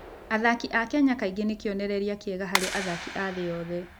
Athaki a Kenya kaingĩ nĩ kĩonereria kĩega harĩ athaki a thĩ yothe.